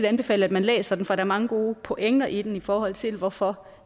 anbefale at man læser den for der er mange gode pointer i den i forhold til hvorfor